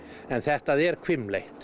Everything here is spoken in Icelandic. en þetta er hvimleitt